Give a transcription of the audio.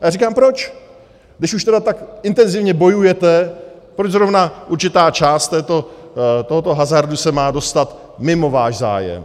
A já říkám proč, když už tedy tak intenzivně bojujete, proč zrovna určitá část tohoto hazardu se má dostat mimo váš zájem.